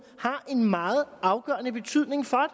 har en meget afgørende betydning for